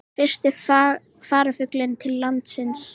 Fyrsti farfuglinn til landsins